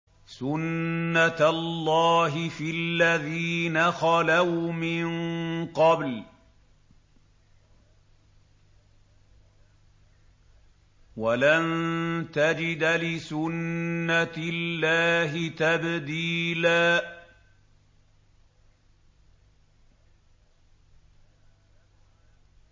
سُنَّةَ اللَّهِ فِي الَّذِينَ خَلَوْا مِن قَبْلُ ۖ وَلَن تَجِدَ لِسُنَّةِ اللَّهِ تَبْدِيلًا